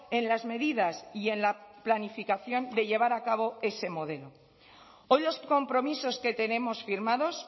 en las medidas y en la planificación de llevar a cabo ese modelo hoy los compromisos que tenemos firmados